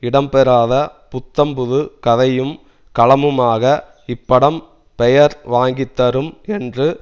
இடம்பெறாத புத்தம்புது கதையும் களமுமாக இப்படம் பெயர் வாங்கித்தரும் என்று